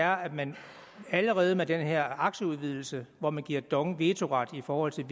er at man allerede med den her aktieudvidelse hvor man giver dong vetoret i forhold til